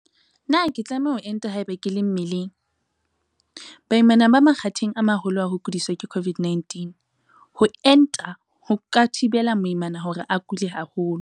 Potso- Na ke tlameha ho enta haeba ke le mmeleng? Karabo- Baimana ba makgatheng a maholo a ho kudiswa ke COVID-19. Ho enta ho ka thibela moimana hore a kule haholo.